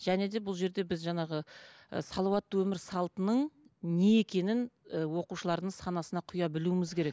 және де бұл жерде біз жаңағы ы салауатты өмір салтының не екенін оқушылардың санасына құя білуіміз керек